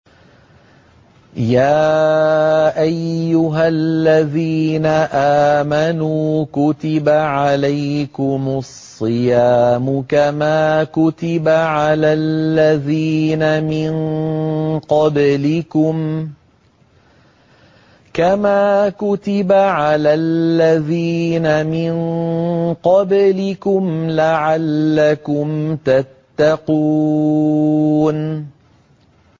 يَا أَيُّهَا الَّذِينَ آمَنُوا كُتِبَ عَلَيْكُمُ الصِّيَامُ كَمَا كُتِبَ عَلَى الَّذِينَ مِن قَبْلِكُمْ لَعَلَّكُمْ تَتَّقُونَ